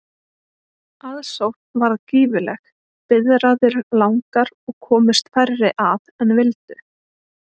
Aðsókn varð gífurleg, biðraðir langar og komust færri að en vildu.